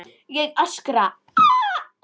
Ég öskra.